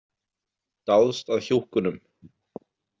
Dáðst að hjúkkunum.